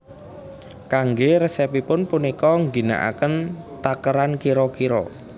Kanggé resepipun punika ngginakaken takeran kira kira